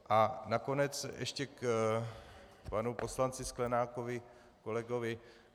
A nakonec ještě k panu poslanci Sklenákovi, kolegovi.